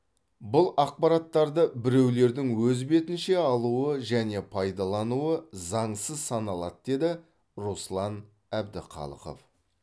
бұл ақпараттарды біреулердің өз бетінше алуы және пайдалануы заңсыз саналады деді руслан әбдіқалықов